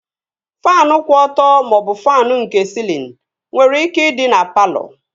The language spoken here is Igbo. Faanụ kwụ ọtọ maọbụ faanụ nke sịlịn nwere ike ịdị na palọ